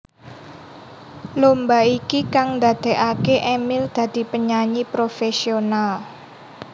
Lomba iki kang ndadekaké Emil dadi penyanyi profesional